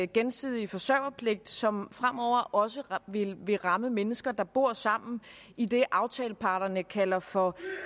gensidige forsørgerpligt som fremover også vil vil ramme mennesker der bor sammen i det aftaleparterne kalder for